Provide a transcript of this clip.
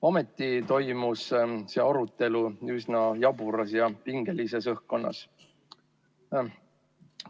Ometi toimus see arutelu üsna jaburas ja pingelises õhkkonnas.